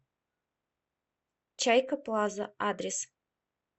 чайка плаза адрес